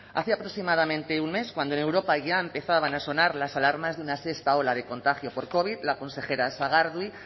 hace aproximadamente un mes cuando en europa ya empezaban a sonar las alarmas de una sexta ola de contagio por covid la consejera sagardui